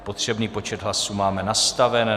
Potřebný počet hlasů máme nastaven.